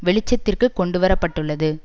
வெளிச்சத்திற்கு கொண்டுவரப்பட்டுள்ளது